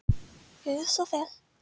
Gjörðu svo vel.